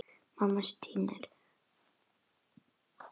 Mamma stynur.